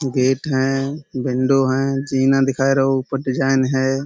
Gate हैं। Window हैं। जीना दिखाए रौ । ऊपर डिजाईन है।